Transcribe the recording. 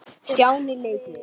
Stjáni leit við.